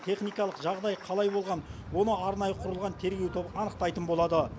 техникалық жағдай қалай болған оны арнайы құрылған тергеу тобы анықтайтын болады